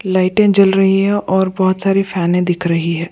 Light ए जल रही है और बहुत सारी फैन ए दिख रही है।